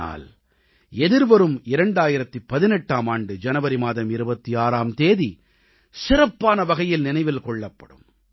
ஆனால் எதிர்வரும் 2018ஆம் ஆண்டு ஜனவரி மாதம் 26ஆம் தேதி சிறப்பான வகையில் நினைவில் கொள்ளப்படும்